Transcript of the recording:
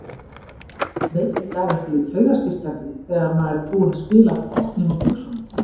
Veitir ekki af einhverju taugastyrkjandi þegar maður er búinn að spila botninn úr buxunum.